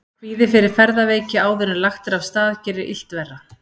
Kvíði fyrir ferðaveiki áður en lagt er af stað gerir illt verra.